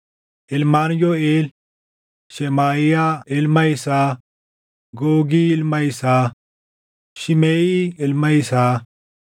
Ilmaan Yooʼeel: Shemaaʼiyaa ilma isaa, Googi ilma isaa, Shimeʼii ilma isaa,